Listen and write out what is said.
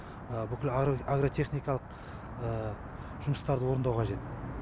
бүкіл агротехникалық жұмыстарды орындау қажет